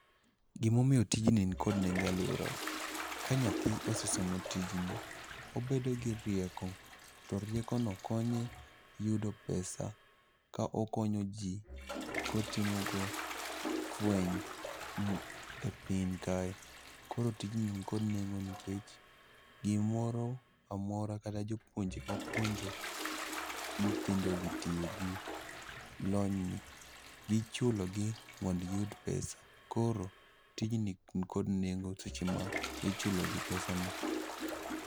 Gimomiyo tijni nikod nengo e alworawa, ka nyathi osesomo tijni, obedo gi rieko. To riekono konye yudo pesa ka okonyo ji kotimogo fweny m e piny kae. Koro tijni nikod nengo nikech gimoro amora kata jopuonje mapuonjo nyithindogi tiyo gi lonyni, gichulogi mondogiyud pesa. Koro tijni nikod nengo seche ma ichulogi pesa no.